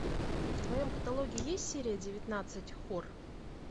в твоем каталоге есть серия девятнадцать хор